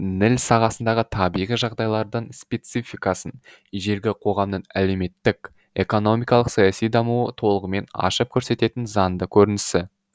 ніл сағасындағы табиғи жағдайлардың спецификасын ежелгі қоғамның әлеуметтік экономикалық саяси дамуы толығымен ашып көрсететін заңды көрінісі